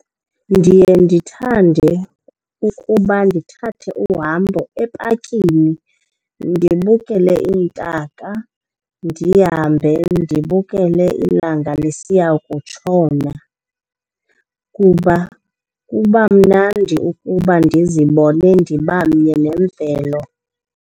Ndiye ndithande ukuba ndithathe uhambo epakini, ndibukele iintaka. Ndihambe ndibukele ilanga lisiya kutshona kuba kuba mnandi ukuba ndizibone ndiba mnye nemvelo.